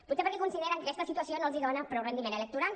potser perquè consideren que aquesta situació no els dona prou rendiment electoral